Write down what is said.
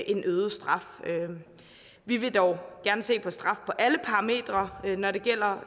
en øget straf vi vil dog gerne se på straf på alle parametre når det gælder